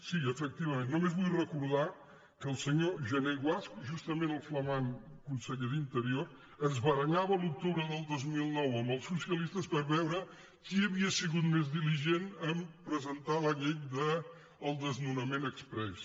sí efectivament només vull recordar que el senyor jané i guasch justament el flamant con·seller d’interior es barallava l’octubre del dos mil nou amb els socialistes per veure qui havia sigut més diligent a presentar la llei del desnonament exprés